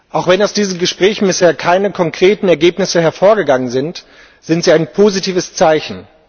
Auch wenn aus diesen Gesprächen bisher keine konkreten Ergebnisse hervorgegangen sind, sind sie ein positives Zeichen.